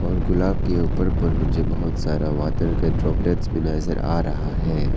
और गुलाब के ऊपर पर मुझे बहुत सारा वाटर का ड्रॉपलेटस भी नजर आ रहा है।